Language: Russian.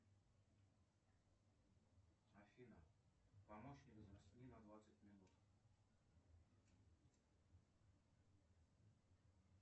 афина помощник засни на двадцать минут